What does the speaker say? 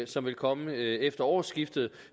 som vil komme efter årsskiftet og